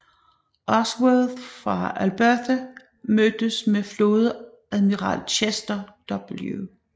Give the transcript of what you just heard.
Ashworth fra Alberta mødtes med flådeadmiral Chester W